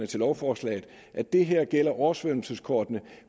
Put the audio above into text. til lovforslaget at det her gælder oversvømmelseskortene